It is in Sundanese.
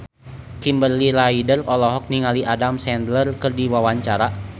Kimberly Ryder olohok ningali Adam Sandler keur diwawancara